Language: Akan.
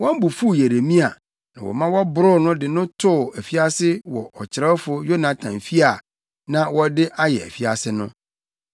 Wɔn bo fuw Yeremia, na wɔma wɔboroo no de no too afiase wɔ ɔkyerɛwfo Yonatan fi a na wɔde ayɛ afiase no.